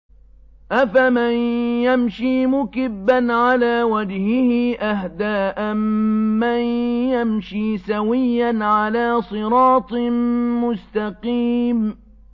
أَفَمَن يَمْشِي مُكِبًّا عَلَىٰ وَجْهِهِ أَهْدَىٰ أَمَّن يَمْشِي سَوِيًّا عَلَىٰ صِرَاطٍ مُّسْتَقِيمٍ